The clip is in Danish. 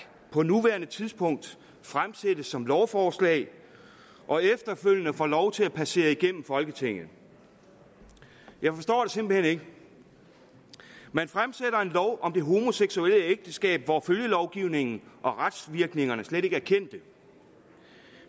på nuværende tidspunkt fremsættes som lovforslag og efterfølgende får lov til at passere igennem folketinget jeg forstår det simpelt hen ikke man fremsætter et om det homoseksuelle ægteskab hvor følgelovgivningen og retsvirkningerne slet ikke er kendte